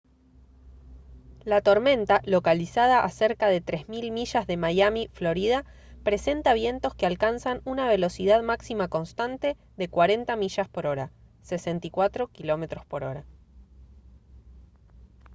la tormenta localizada a cerca de 3000 millas de miami florida presenta vientos que alcanzan una velocidad máxima constante de 40 mph 64 km/h